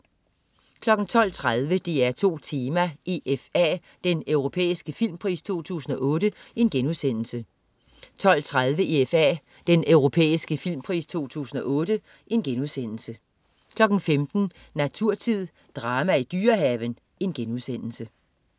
12.30 DR2 Tema: EFA, Den europæiske filmpris 2008* 12.30 EFA, Den europæiske filmpris 2008* 15.00 Naturtid. Drama i Dyrehaven*